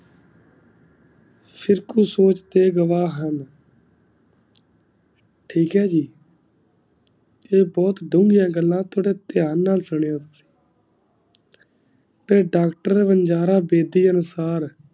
ਫਿਰ ਕੋਈ ਸੋਚ ਤੇ ਗਵਾ ਹੁਣ ਠੀਕ ਹੈ ਜੀ ਏਹ ਬੋਹਤ ਡੂਗਿਆ ਗਲਾ ਥੋੜਾ ਧਿਆਨ ਨਾਲ ਸੁਣਿਯੋ ਤੇ ਡਾਕ੍ਟਰ ਵੰਗਾਰਾ ਬ ਤੀ ਆਂਫ਼ਰ